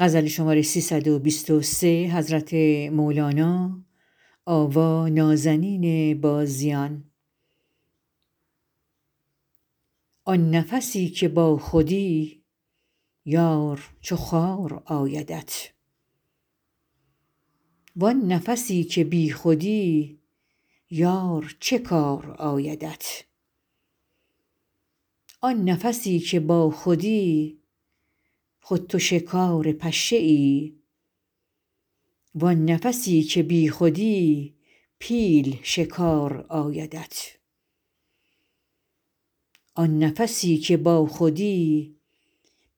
آن نفسی که باخودی یار چو خار آیدت وان نفسی که بیخودی یار چه کار آیدت آن نفسی که باخودی خود تو شکار پشه ای وان نفسی که بیخودی پیل شکار آیدت آن نفسی که باخودی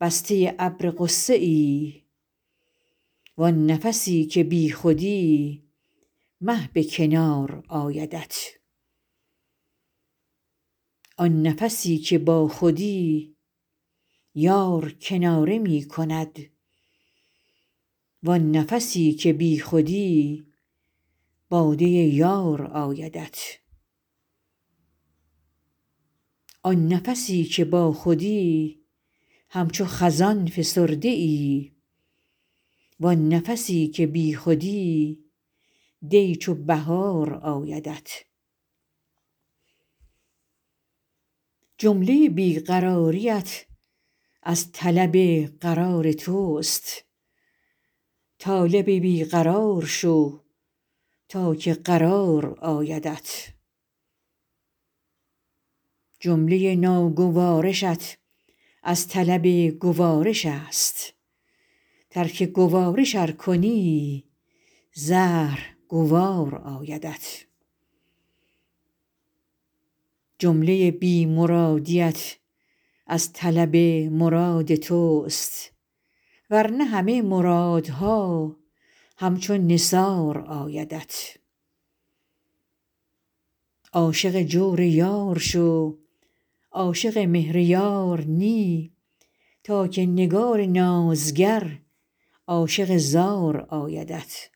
بسته ابر غصه ای وان نفسی که بیخودی مه به کنار آیدت آن نفسی که باخودی یار کناره می کند وان نفسی که بیخودی باده یار آیدت آن نفسی که باخودی همچو خزان فسرده ای وان نفسی که بیخودی دی چو بهار آیدت جمله بی قراریت از طلب قرار توست طالب بی قرار شو تا که قرار آیدت جمله ناگوارشت از طلب گوارش است ترک گوارش ار کنی زهر گوار آیدت جمله بی مرادیت از طلب مراد توست ور نه همه مرادها همچو نثار آیدت عاشق جور یار شو عاشق مهر یار نی تا که نگار نازگر عاشق زار آیدت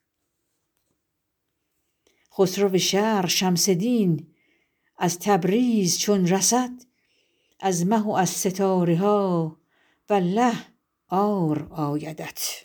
خسرو شرق شمس دین از تبریز چون رسد از مه و از ستاره ها والله عار آیدت